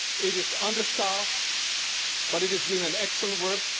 It is understaffed, but it is doing excellent work.